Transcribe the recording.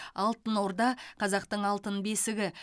алтын орда қазақтың алтын бесігі